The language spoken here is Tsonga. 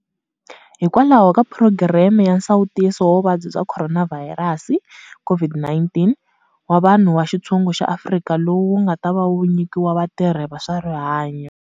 Hikwalaho ka phurogireme ya nsawutiso wa vuvabyi bya khoronavhayirasi, COVID-19, wa vanhu va xitshungu wa Afrika-Dzonga lowu wu nga ta va wu nyikiwa vatirhi va swa rihanyu.